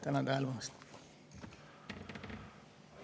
Tänan tähelepanu eest!